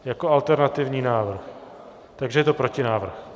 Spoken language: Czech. Jako alternativní návrh, takže je to protinávrh.